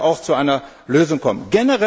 Hier müssen wir auch zu einer Lösung kommen.